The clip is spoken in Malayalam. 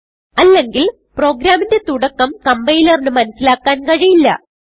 അല്ലെങ്കിൽ പ്രോഗ്രാമിന്റെ തുടക്കം കംപൈലറിന് മനസിലാക്കാൻ കഴിയില്ല